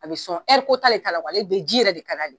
A bi sɔn t'ale ta la ale bi ji yɛrɛ de ka d'ale ye.